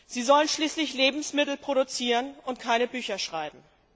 Sie sollen schließlich Lebensmittel produzieren und keine Bücher schreiben.